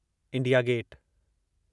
India gate